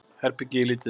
Herbergið er lítið.